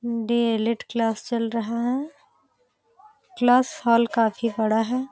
D ElEd class चल रहा है। क्लास हॉल काफ़ी बड़ा है।